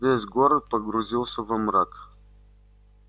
весь город погрузился во мрак